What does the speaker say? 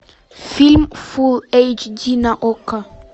фильм фулл эйч ди на окко